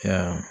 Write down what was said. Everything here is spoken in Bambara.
Ya